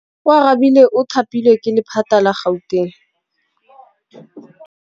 Oarabile o thapilwe ke lephata la Gauteng.